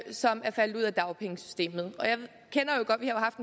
som er faldet ud af dagpengesystemet